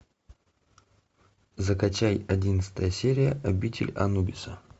закачай одиннадцатая серия обитель анубиса